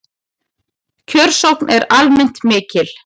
Kjörsókn er almennt mikil